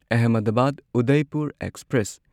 Ahmedabad Udaipur express